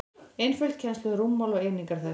einföld kennsla um rúmmál og einingar þess